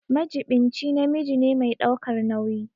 Majiɓinci namiji ne mai ɗaukar nauyi.